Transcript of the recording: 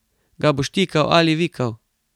Ga boš tikal ali vikal?